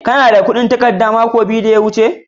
Kana da kudin takarda da na ba ka mako biyu da ya wuce?